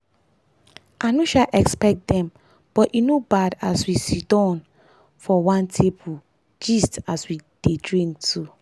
i no sha expect dem but e no bad as we sitdon for one table. gist as we drik too